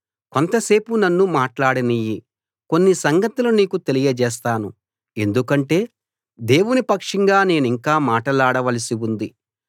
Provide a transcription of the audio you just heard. కొంతసేపు నన్ను మాట్లాడనియ్యి కొన్ని సంగతులు నీకు తెలియజేస్తాను ఎందుకంటే దేవుని పక్షంగా నేనింకా మాట్లాడవలసి ఉంది